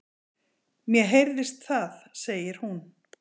Mér heyrðist það, segir hún.